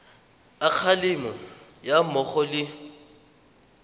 a kgalemo ga mmogo le